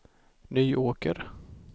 Nyåker